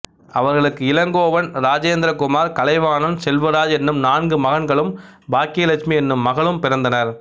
அவர்களுக்கு இளங்கோவன் ராஜேந்திர குமார் கலைவாணன் செல்வராஜ் என்னும் நான்கு மகன்களும் பாக்யலட்சுமி என்னும் மகளும் பிறந்தனர்